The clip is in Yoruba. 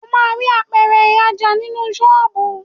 O máa rí Apẹ̀rẹ̀ ìrajà nínú ṣọ́ọ̀bù.